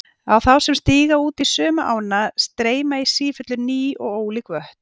Á þá sem stíga út í sömu ána streyma í sífellu ný og ólík vötn.